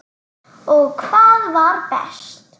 Og hvað var best.